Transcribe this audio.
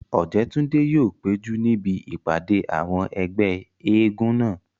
Ọ̀jẹ́túndé yóò péjú níbi ìpàdé àwọn ẹgbẹ́ eégún náà